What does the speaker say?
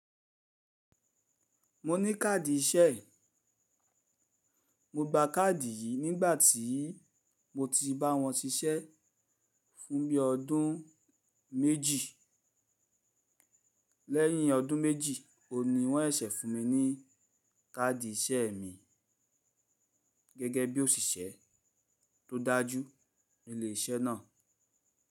Mo ní káàdì iṣẹ́, mo gba káàdì yìí nígbà tí mo ti bá wọn ṣiṣẹ́ fún bí ọdún méjì. Lẹ́yìn ọdún méjì, òu ní wọ́n sẹ ṣẹ fún mi ní káàdì iṣẹ́ mi, gẹ́gẹ́ bí òṣìṣẹ́ tó dájú ní ilé iṣẹ́ náà.